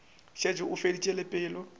šetše a feditše le pelo